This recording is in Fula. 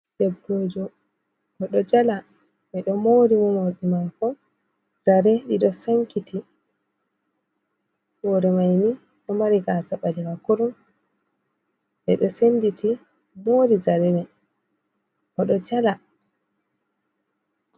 Debbo jo o ɗo jala, ɓe ɗo moori mo morɗi maako zare ɗiɗo sankiti, hoore mai ni ɗo mari gaasa ɓaleha kurum, ɓe ɗo senditi moori zare mai, o ɗo jala.